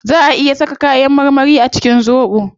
Zaa a iya saka kayan marmari a cikin zobo